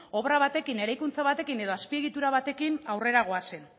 obra batekin eraikuntza batekin edo azpiegitura batekin aurrera goazen